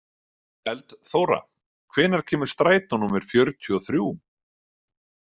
Eldþóra, hvenær kemur strætó númer fjörutíu og þrjú?